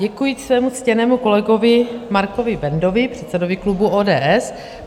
Děkuji svému ctěnému kolegovi Markovi Bendovi, předsedovi klubu ODS.